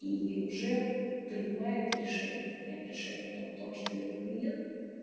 и уже принимает решение приняв решение о том кто ваш целевой клиент